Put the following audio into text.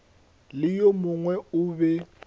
le yo mongwe o be